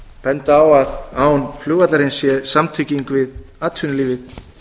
benda á að án flugvallarins sé samtenging við atvinnulífið